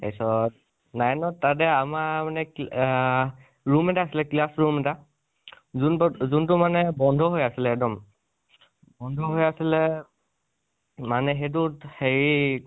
তাচত nine ত তাতে আমাৰ মানেআ room এটা আছিলে classroom এটা, যোনটো যোনটো মানে বন্ধ হৈ আছিলে একদম । বন্ধ হৈ আছিলে মানে সেইটোত হেৰি